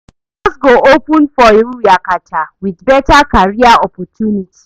Doors go open for you yakata wit beta career opportunity